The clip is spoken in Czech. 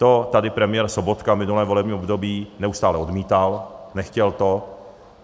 To tady premiér Sobotka minulé volební období neustále odmítal, nechtěl to.